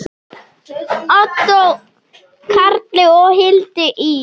Ottó Karli og Hildi Ýr.